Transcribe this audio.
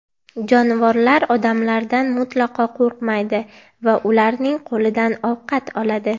Jonivorlar odamlardan mutlaqo qo‘rqmaydi va ularning qo‘lidan ovqat oladi.